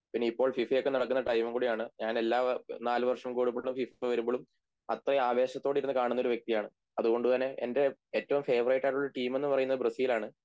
പിന്നെ ഇപ്പോൾ ഫിഫയൊക്കെ നടക്കുന്ന ടൈമും കൂടെയാണ് ഞാൻ എല്ലാ നാലുവർഷം കൂടുമ്പോളുള്ള ഫിഫ വരുമ്പളും അത്ര ആവേശത്തോടെ ഇരുന്നു കാണുന്നൊരു വ്യക്തിയാണ് അതുകൊണ്ടുതന്നെ എൻ്റെ ഏറ്റവും ഫേവറേറ്റ് ആയിട്ടുള്ള ടീമെന്ന് പറയുന്നത് ബ്രസീലാണ്